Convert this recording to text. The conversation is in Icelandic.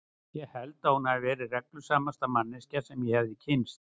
Ég held að hún hafi verið reglusamasta manneskjan sem ég hefi kynnst.